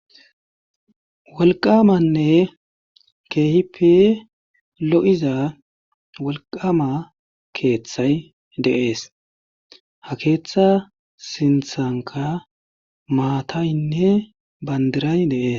Wolqamanne keehipi lo7iza wolqama keeththay deees ha keeththa sinthanka maataynne bandiray deees.